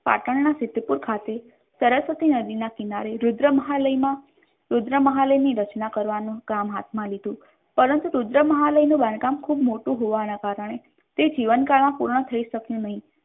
પાટણના સિદ્ધપુર ખાતે સરસ્વતી નદીના કિનારે રુદ્ર મહાલયમાં રુદ્ર મહાલયની રચના કરવાનું કામ હાથમાં લીધું પરંતુ રુદ્ર મહાલયનું બાંધકામ ખૂબ મોટું હોવાના કારણે તે જીવનકાળમાં પૂર્ણ થઈ શક્યું નહીં.